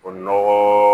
O nɔgɔ